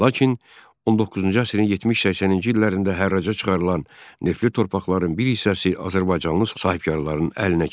Lakin 19-cu əsrin 70-80-ci illərində hərraca çıxarılan neftli torpaqların bir hissəsi azərbaycanlı sahibkarların əlinə keçdi.